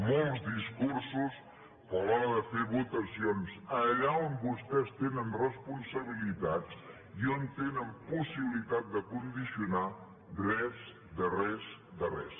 molts discursos però a l’hora de fer votacions allà on vostès tenen responsabilitats i on tenen possibilitat de condicionar res de res de res